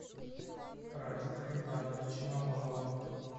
радика ивановича мамонова